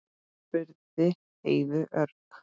spurði Heiða örg.